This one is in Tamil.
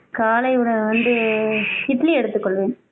காலை உணவு வந்து இட்லி எடுத்துக் கொள்வேன்